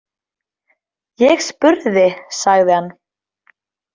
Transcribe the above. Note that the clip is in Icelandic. Ég spurði, sagði hann.